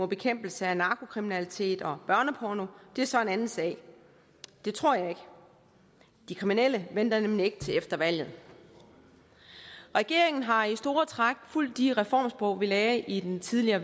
bekæmpelse af narkokriminalitet og børneporno er så en anden sag det tror jeg ikke de kriminelle venter nemlig ikke til efter valget regeringen har i store træk fulgt de reformspor vi lagde i den tidligere